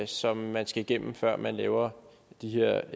som man skal igennem før man laver de her